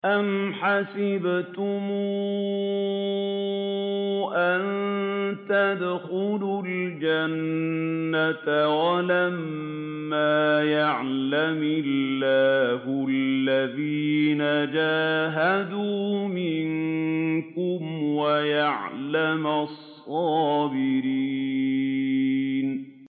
أَمْ حَسِبْتُمْ أَن تَدْخُلُوا الْجَنَّةَ وَلَمَّا يَعْلَمِ اللَّهُ الَّذِينَ جَاهَدُوا مِنكُمْ وَيَعْلَمَ الصَّابِرِينَ